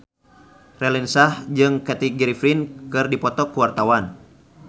Raline Shah jeung Kathy Griffin keur dipoto ku wartawan